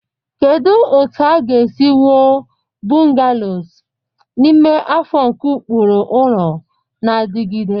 Kedu otu a ga-esi wuo bungalows n'ime afọ nke ụkpụrụ ụlọ na-adigide?